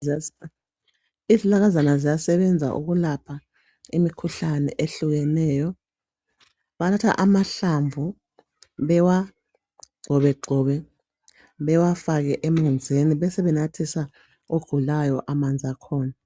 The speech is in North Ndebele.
Izihlahlakazana ziyasebenza ukulapha imikhuhlane ehlukeneyo , bathatha amahlamvu bewagxobegxobe bewafake emanzini besebenathisa ogulayo amanzi akhona